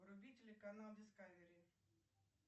вруби телеканал дискавери